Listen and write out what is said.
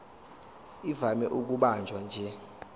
ivame ukubanjwa nje